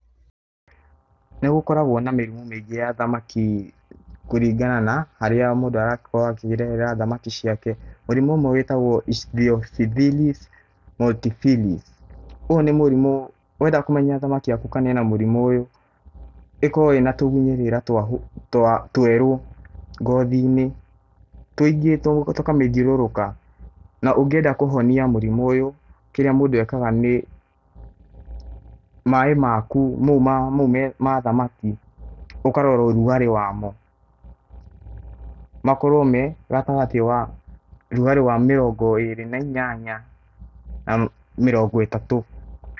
Nĩ gũkoragwo na mĩrimũ mĩingĩ ya thamaki kũringana na harĩa mũndũ aragikorwo akirerera thamaki ciake. Mũrimũ ũmwe wĩtagwo icindioxibindis multifine ũyũ nĩ mũrimũ wenda kũmenya thamaki yaku kana ĩna mũrimũ ũyũ. ĩkoragwo ĩna tĩgunyĩrĩra twa twerũ ngothi-inĩ, tũkamĩthiũrũrũka. Na ũngĩenda kũhonia mũrimũ ũyũ kĩrĩa mũndũ ekaga nĩ, maĩ maku mau ma thamaki, ũkarora ũrugarĩ wa mo. Makorwo me gatagatĩ wa ũrugarĩ wa mĩrongo ĩrĩ na inyanya na mĩrongo ĩtatũ.